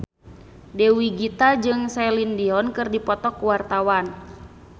Dewi Gita jeung Celine Dion keur dipoto ku wartawan